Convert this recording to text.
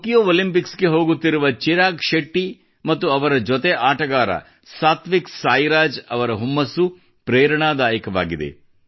Tokyo Olympics ಗೆ ಹೋಗುತ್ತಿರುವ ಚಿರಾಗ್ ಶೆಟ್ಟಿ ಮತ್ತು ಅವರ ಜೊತೆ ಆಟಗಾರ ಸಾತ್ವಿಕ್ ಸಾಯಿರಾಜ್ ಅವರ ಹುಮ್ಮಸ್ಸು ಪ್ರೇರಣಾದಾಯಕವಾಗಿದೆ